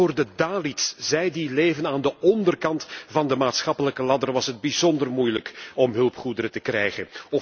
Vooral voor de Dalits, zij die leven aan de onderkant van de maatschappelijke ladder, was het bijzonder moeilijk om hulpgoederen te krijgen.